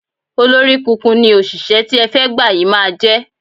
Olóríkunkun ni òṣìṣẹ́ tí ẹ fẹ́ gbà yí máa jẹ́.